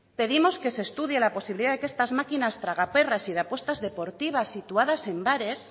pedimos que se estudie la posibilidad de que estas máquinas tragaperras y de apuestas deportivas situadas en bares